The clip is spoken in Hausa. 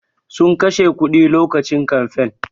Sun kashe kuɗi lokacin kamfain